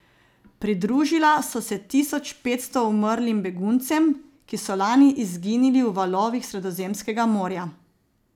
Pridružila so se tisoč petsto umrlim beguncem, ki so lani izginili v valovih Sredozemskega morja.